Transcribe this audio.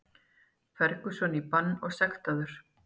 Ferguson í bann og sektaður